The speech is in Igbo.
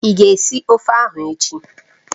Ị ga esi ofe ahụ echi?